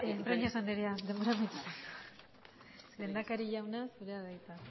breñas andrea denbora amaitu zaizu lehendakari jauna zurea da hitza